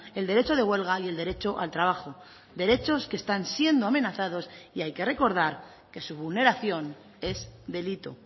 el derecho de huelga y el derecho al trabajo derechos que están siendo amenazados y hay que recordar que su vulneración es delito